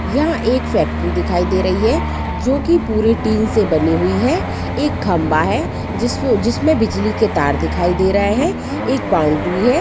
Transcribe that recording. यहां एक फैक्ट्री दिखाई दे रही है जो की पूरी टीन से बनी हुई है एक खंभा है जिस्म- जिसमें बिजली के तार दिखाई दे रहे हैं एक बाउंड्री है।